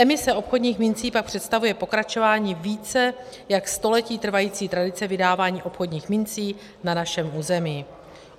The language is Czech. Emise obchodních mincí pak představuje pokračování více jak století trvající tradice vydávání obchodních mincí na našem území.